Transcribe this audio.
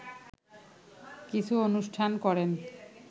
কিছু অনুষ্ঠান করেন